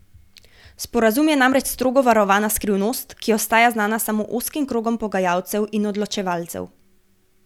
Sporazum je namreč strogo varovana skrivnost, ki ostaja znana samo ozkim krogom pogajalcev in odločevalcev.